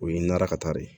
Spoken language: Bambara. O ye nɛrɛ ka taa de ye